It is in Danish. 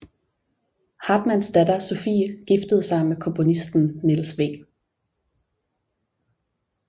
Hartmanns datter Sophie giftede sig med komponisten Niels W